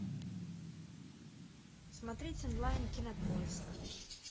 смотреть онлайн кинопоиск